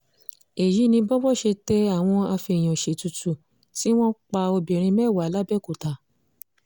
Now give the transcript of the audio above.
èyí ni bówó ṣe tẹ àwọn afèèyàn-ṣètùtù tí wọ́n pa obìnrin mẹ́wàá làbẹ́òkúta